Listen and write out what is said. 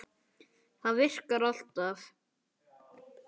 Það virkar alltaf.